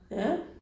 Ja